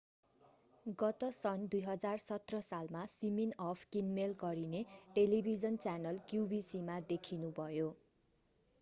गत सन् 2017 सालमा सिमिनअफ किनमेल गरिने टेलिभिजन च्यानल qvc मा देखिनुभयो